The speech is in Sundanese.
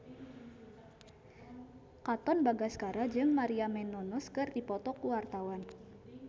Katon Bagaskara jeung Maria Menounos keur dipoto ku wartawan